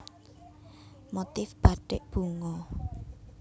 Motif Bathik Bunga